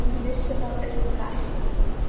Hann vissi það auðvitað ekki.